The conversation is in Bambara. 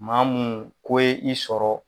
Ma munnu ko ye i sɔrɔ